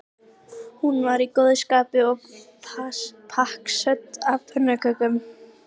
Hún var í góðu skapi og pakksödd af pönnukökum.